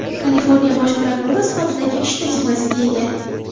Kaliforniya bosh prokurori sifatidagi ish tajribasiga ega.